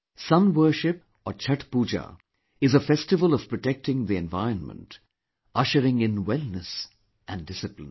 Sun worship or Chhath Pooja is a festival of protecting the environment, ushering in wellness and discipline